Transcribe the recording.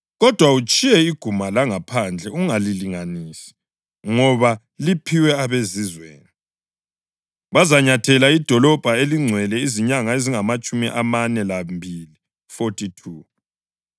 Kodwa utshiye iguma langaphandle ungalilinganisi ngoba liphiwe abeZizweni. Bazanyathela idolobho elingcwele izinyanga ezingamatshumi amane lambili (42).